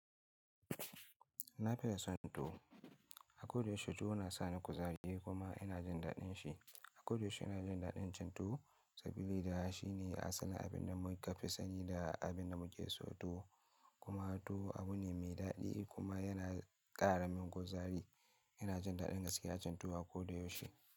Na fiye son tuwo. A koda yaushe tuwo na sa ni kuzari kuma ina jin daɗin shi. A koda yaushe ina jin daɗin cin tuwo saboda shi ne asalin abin da mun fi sani da abin da muke so tuwo kuma tuwo abu ne mai daɗi kuma yana ƙara min kuzari. Ina jin daɗin gaskiya cin tuwo a koda yaushe.